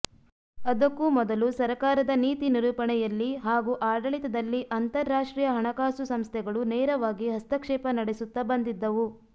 ಅದಕ್ಕೂ ಮೊದಲು ಸರಕಾರದ ನೀತಿ ನಿರೂಪಣೆಯಲ್ಲಿ ಹಾಗೂ ಆಡಳಿತದಲ್ಲಿ ಅಂತರ್ರಾಷ್ಟ್ರೀಯ ಹಣಕಾಸು ಸಂಸ್ಥೆಗಳು ನೇರವಾಗಿ ಹಸ್ತಕ್ಷೇಪ ನಡೆಸುತ್ತಾ ಬಂದಿದ್ದವು